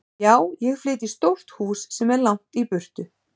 Já, ég flyt í stórt hús sem er langt í burtu.